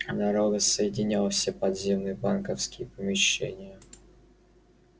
дорога соединяла все подземные банковские помещения